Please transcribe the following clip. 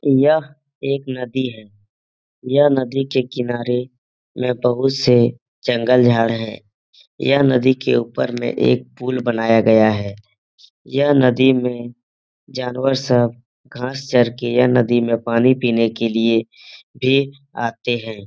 यह एक नदी है यह नदी के किनारे में बहुत से जंगल झाड़ है यह नदी के ऊपर में एक पूल बनाया गया है यह नदी में जानवर सब घांस चर के यह नदी में पानी पीने के लिए भी आते है।